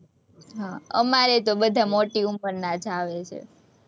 હમ અમારેય તે બધા મોટી ઉંમરના જ આવે છે,